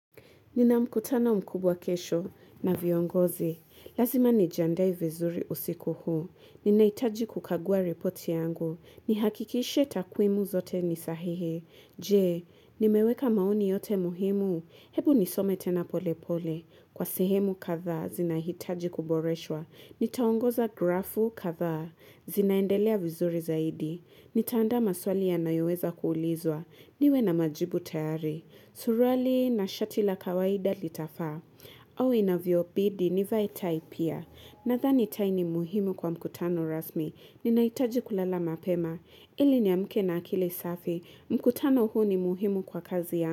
Ninamkutano mkubwa kesho na viongozi. Lazima nijiandae vizuri usiku huu. Ninahitaji kukagua reporti yangu. Ni hakikishe takwimu zote ni sahihi. Jee, nimeweka maoni yote muhimu. Hebu nisome tena pole pole. Kwa sehemu kathaa zinahitaji kuboreshwa. Nitaongoza grafu kathaa zinaendelea vizuri zaidi. Ni taandaa maswali yanayoweza kuulizwa. Niwe na majibu tayari. Surwali na shati la kawaida litafaa. Au inavyo bidii ni vae taipia. Na thani tai ni muhimu kwa mkutano rasmi. Ni nahitaji kulala mapema. Ili ni amke na akili safi. Mkutano huu ni muhimu kwa kazi ya.